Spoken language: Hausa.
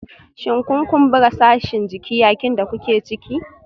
Shin kun kumbura sashin jiki yayin da kuke ciki?